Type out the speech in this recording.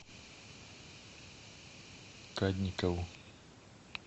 кадникову